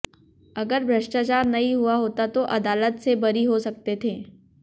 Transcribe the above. अगर भ्रष्टाचार नहीं हुआ होता तो अदालत से बरी हो सकते थे